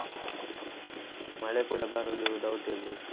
ಮಳೆ ಕೂಡ ಬರುದು doubt ಇರ್ಬೇಕು.